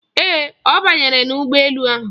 Ee, ọ banyere n'ụgbọ elu ahụ.